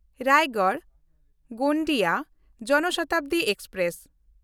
ᱨᱟᱭᱜᱚᱲ–ᱜᱳᱸᱫᱤᱭᱟ ᱡᱚᱱ ᱥᱚᱛᱟᱵᱫᱤ ᱮᱠᱥᱯᱨᱮᱥ